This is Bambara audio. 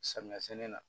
Samiya sɛnɛ na